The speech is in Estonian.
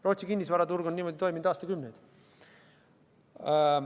Rootsi kinnisvaraturg on niimoodi toiminud aastakümneid.